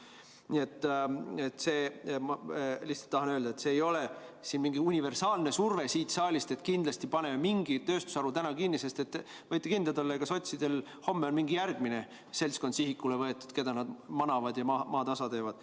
Nii et ma lihtsalt tahan öelda, et see ei ole mingi universaalne surve siit saalist, et kindlasti paneme mingi tööstusharu täna kinni, sest võite kindlad olla, et sotsidel on homme mingi järgmine seltskond sihikule võetud, keda nad manavad ja maatasa teevad.